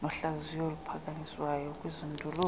nohlaziyo oluphakanyiswayo kwizindululo